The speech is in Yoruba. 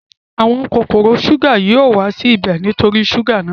Àwọn kòkòrò súgà yóò wá sí ibẹ̀ nítorí súgà náà